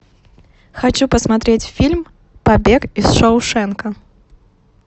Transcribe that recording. хочу посмотреть фильм побег из шоушенка